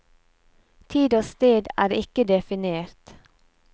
Tid og sted er ikke definert.